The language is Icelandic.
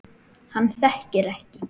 Hann þekkir ekki